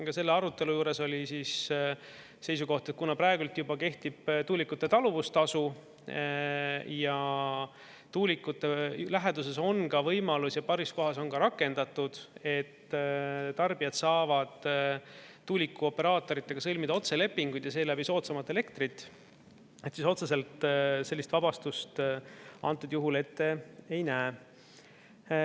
Ka selle arutelu juures oli seisukoht, et kuna praegu juba kehtib tuulikute taluvustasu ja tuulikute läheduses on ka võimalus ja paaris kohas on ka rakendatud, et tarbijad saavad tuulikuoperaatoritega sõlmida otselepinguid ja seeläbi soodsamalt elektrit, siis otseselt sellist vabastust antud juhul ette ei näe.